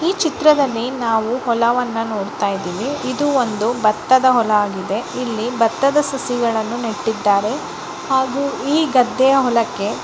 ಈ ಚಿತ್ರದಲ್ಲಿ ನಾವು ಹೊಲವನ್ನು ನೋಡ್ತಾ ಇದ್ದೀವಿ ಇದು ಒಂದು ಭತ್ತದ ಹೊಲ ಆಗಿದೆ ಇಲ್ಲಿ ಭತ್ತದ ಸಸಿಗಳನ್ನು ನೆಟ್ಟಿದ್ದಾರೆ ಹಾಗೂ ಈ ಗದ್ದೆಯ ಹೊಲಕ್ಕೆ--